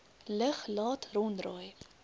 lug laat ronddraai